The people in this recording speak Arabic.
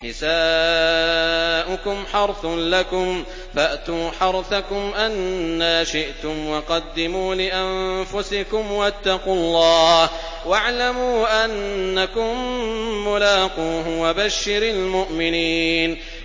نِسَاؤُكُمْ حَرْثٌ لَّكُمْ فَأْتُوا حَرْثَكُمْ أَنَّىٰ شِئْتُمْ ۖ وَقَدِّمُوا لِأَنفُسِكُمْ ۚ وَاتَّقُوا اللَّهَ وَاعْلَمُوا أَنَّكُم مُّلَاقُوهُ ۗ وَبَشِّرِ الْمُؤْمِنِينَ